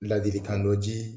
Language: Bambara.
Ladilikan dɔ ji